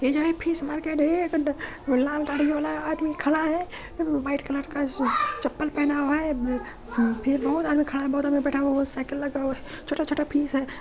ये जो हे फिश मार्केट है। लाल गाड़ी वाला आदमी खड़ा है। वो व्हाइट कलर का स चप्पल पहना हुआ है फिर और फिर आदमी खड़ा हुआ है और बहुत आदमी बैठा हुआ है। साइकिल लगा हुआ है। छोटा छोटा फिश है।